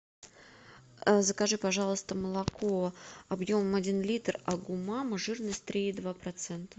закажи пожалуйста молоко объемом один литр агу мама жирность три и два процента